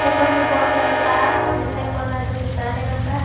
ऊपर मैं बहुत सारा तार दिखाई पड़ रहा है जो कि काले रंग का है।